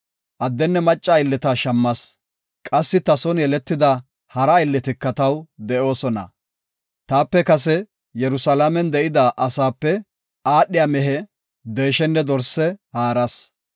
Addenne macca aylleta shammas; qassi ta son yeletida hara aylletika taw de7oosona. Taape kase Yerusalaamen de7ida asaape aadhiya mehe, deeshenne dorse haaras.